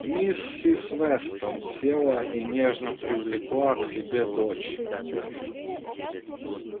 миссис вестон села и нежно привлекла к себе дочь